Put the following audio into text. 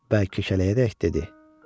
Bəl kiçəliyərək dedi: